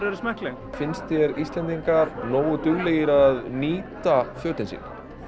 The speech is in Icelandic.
eru smekkleg finnst þér Íslendingar nógu duglegir að nýta fötin sín